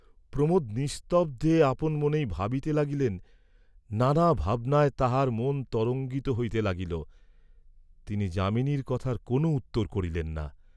প্রমােদ নিস্তব্ধে আপন মনেই ভাবিতে লাগিলেন, নানা ভাবনায় তাঁহার মন তরঙ্গিত হইতে লাগিল, তিনি যামিনীর কথার কোন উত্তর করিলেন না।